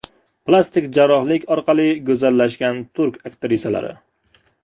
Plastik jarrohlik orqali go‘zallashgan turk aktrisalari .